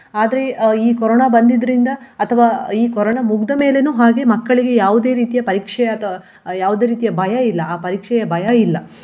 ಆದ್ರೆ ಆ ಈ ಕೊರೋನಾ ಬಂದಿದ್ರಿಂದ ಅಥವಾ ಈ ಕೊರೋನಾ ಮುಗ್ದ ಮೇಲೇನು ಹಾಗೆ ಮಕ್ಕಳಿಗೆ ಯಾವುದೇ ರೀತಿಯ ಪರೀಕ್ಷೆ ಅಥವ್~ ಯಾವುದೇ ರೀತಿಯ ಭಯ ಇಲ್ಲ ಆ ಪರೀಕ್ಷೆಯ ಭಯ ಇಲ್ಲ.